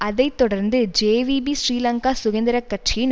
அதை தொடர்ந்து ஜேவிபி ஸ்ரீலங்கா சுதந்திர கட்சியின்